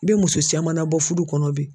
I bɛ muso siaman na bɔ fudu kɔnɔ bi.